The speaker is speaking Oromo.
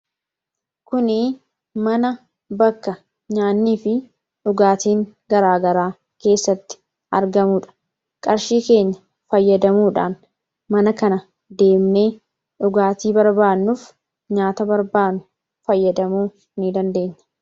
Kun mana bakka nyaannii fi dhugaatiin garaa garaa keessatti argamudha. Qarshii keenya fayyadamuudhaa mana kana deemnee dhugaatii fi nyaata barbaannu fayyadamuu dandeenya.